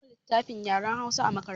An ba mu littafin yaren Hausa a makaranta.